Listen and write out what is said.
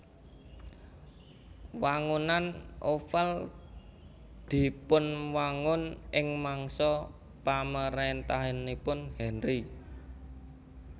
Wangunan Oval dipunwangun ing mangsa pamaréntahanipun Henri